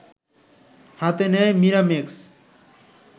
হাতে নেয় মিরাম্যাক্স